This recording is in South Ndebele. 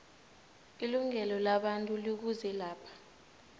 ilungelo labantu likuzelapha